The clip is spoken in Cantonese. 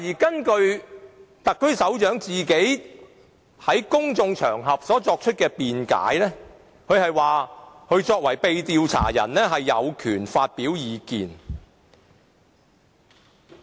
根據特區首長在公眾場合作出的辯解，他作為被調查者有權發表意見。